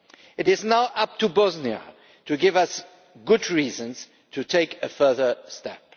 It is now up to Bosnia to give us good reasons to take a further step.